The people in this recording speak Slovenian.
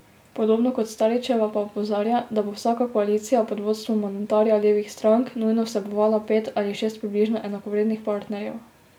Podobno kot Staričeva pa opozarja, da bo vsaka koalicija pod vodstvom mandatarja levih strank nujno vsebovala pet ali šest približno enakovrednih partnerjev.